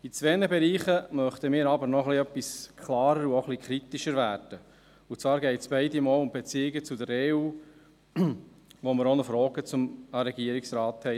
In zwei Bereichen möchten wir aber noch ein bisschen klarer und auch ein bisschen kritischer werden, und zwar geht es beide Male um die Beziehungen zur EU, wozu wir auch noch Fragen an den Regierungsrat haben.